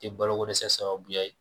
I ye balokodɛsɛ sababuya ye